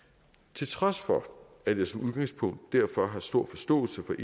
til trods for at jeg som udgangspunkt derfor har stor forståelse for